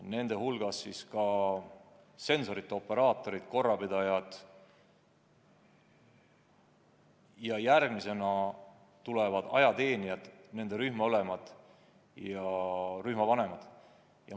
Nende hulgas on sensorite operaatorid ja korrapidajad, järgmisena tulevad ajateenijad, nende rühmaülemad ja rühmavanemad.